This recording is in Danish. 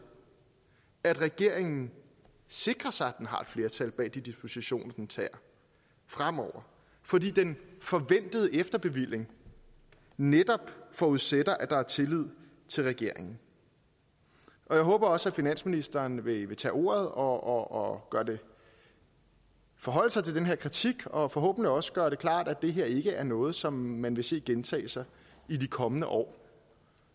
at regeringen sikrer sig at den har et flertal bag de dispositioner den tager fremover fordi den forventede efterbevilling netop forudsætter at der er tillid til regeringen og jeg håber også at finansministeren vil tage ordet og forholde sig til den her kritik og forhåbentlig også gøre det klart at det her ikke er noget som man vil se gentage sig i de kommende år